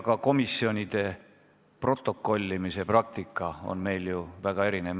Ka komisjonide protokollimise praktika on meil ju väga erinev.